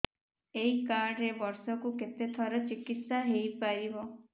ଏଇ କାର୍ଡ ରେ ବର୍ଷକୁ କେତେ ଥର ଚିକିତ୍ସା ହେଇପାରିବ